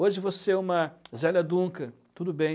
Hoje você é uma Zélia Dunca, tudo bem.